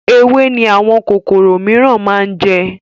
Ewé ni àwọn kòkòrò miran máa ń jẹ